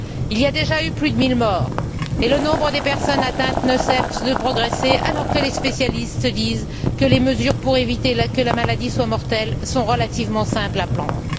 Il y a déjà eu plus de mille morts et le nombre des personnes atteintes ne cesse de progresser, alors que les spécialistes disent que les mesures pour éviter que la maladie soit mortelle sont relativement simples à prendre.